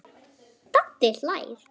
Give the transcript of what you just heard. Doddi hlær.